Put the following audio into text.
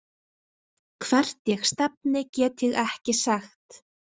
Hvert ég stefni get ég ekki sagt.